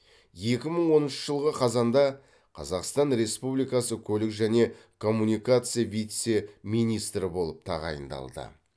екі мың оныншы жылғы қазанда қазақстан республикасы көлік және коммуникация вице министрі болып тағайындалды